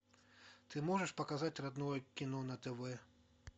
ты можешь показать родное кино на тв